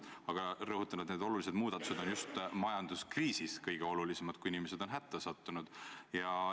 Aga ma rõhutan, et need muudatused on just majanduskriisis kõige olulisemad, kui inimesed on hätta sattunud.